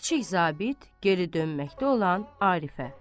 Kiçik zabit, geri dönməkdə olan Arifə.